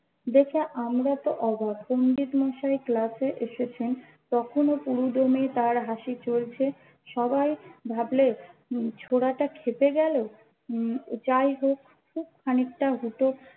দেখে আমরা তো অবাক পন্ডিত মশাই ক্লাস এ এসেছেন তখনোও পুরো দমে তার হাসি চলছে সবাই ভাবলে হম ছড়াটা খেতে গেলো হম যাইহোক খুব খানিকটা হুটো